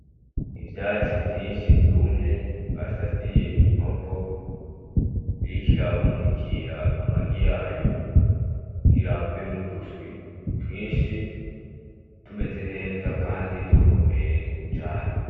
Ivyatsi vyinshi vyumye basasiye inkoko iriko irabundikira amagi yayo kugira havemwo uduswi twinshi, tumeze neza, kandi dukomeye cane.